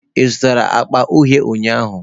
Ị zụtara akpa uhie ụnyahụ?